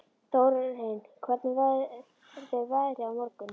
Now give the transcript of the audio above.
Þórinn, hvernig verður veðrið á morgun?